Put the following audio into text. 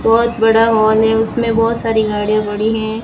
बहोत बड़ा हॉल है उसमें बहोत सारी गाड़ियां पड़ीं हैं।